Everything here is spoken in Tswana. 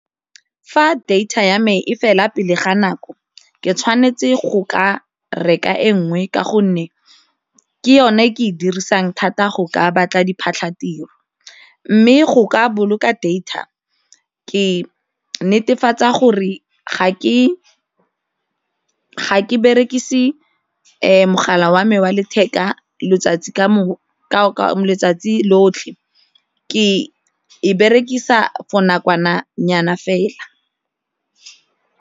Fa data ya me e fela pele ga nako ke tshwanetse go ka reka e nngwe ka gonne ke yone e ke e dirisang thata go ka batla diphatlhatiro mme go ka boloka data ke netefatsa gore ga ke berekise mogala wa me wa letheka letsatsi letsatsi lotlhe, ke e berekisa for nakwana nyana fela.